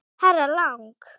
Herra Lang.